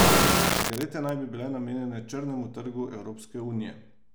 Cigarete naj bi bile namenjene črnemu trgu Evropske unije.